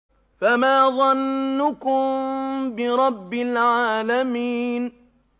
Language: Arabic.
فَمَا ظَنُّكُم بِرَبِّ الْعَالَمِينَ